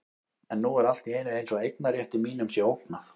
En nú er allt í einu eins og eignarrétti mínum sé ógnað.